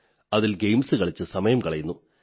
അതിൽ ഗെയിംസ് കളിച്ച് സമയം കളയുന്നു